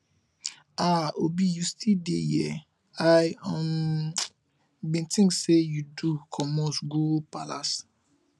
um obi you still dey here i um bin think you do comot go palace